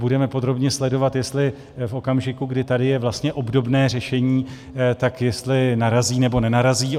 Budeme podrobně sledovat, jestli v okamžiku, kdy tady je vlastně obdobné řešení, tak jestli narazí, nebo nenarazí.